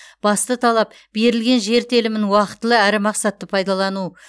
басты талап берілген жер телімін уақтылы әрі мақсатты пайдалану